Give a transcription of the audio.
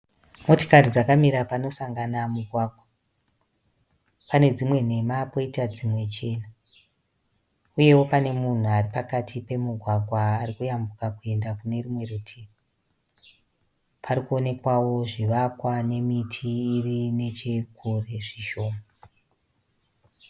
Motikari dzakamira panosamgana mugwagwa. Pane dzimwe nhema poita dzimwe chena. Uyewo pane munhu aripamati pemugwagwa arikuyambuka kuenda kunerumwe rutivi. Parikuonekwawo zvivakwa nemiti irinechekure zvishoma.